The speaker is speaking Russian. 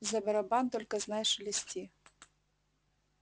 за барабан только знай шелести